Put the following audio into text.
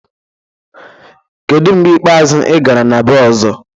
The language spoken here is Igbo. Kedu mgbe ikpeazụ ị gara na bee Ọzọ?